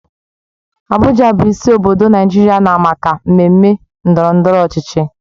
Abuja bụ isi obodo Naijiria na maka mmemme ndọrọ ndọrọ ọchịchị.